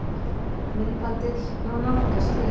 Myndbandið má nálgast hér